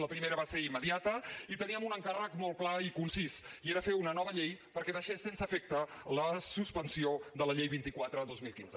la primera va ser immediata i teníem un encàrrec molt clar i concís i era fer una nova llei perquè deixés sense efecte la suspensió de la llei vint quatre dos mil quinze